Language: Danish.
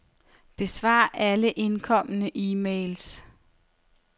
Besvar alle indkomne e-mails.